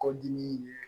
Kɔdimi ye